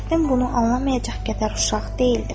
Fəxrəddin bunu anlamayacaq qədər uşaq deyildir.